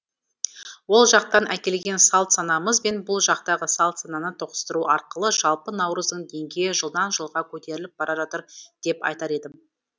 ол жақтан әкелген салт санамыз бен бұл жақтағы салт сананы тоғыстыру арқылы жалпы наурыздың денгейі жылдан жылға көтеріліп бара жатыр деп айтар едім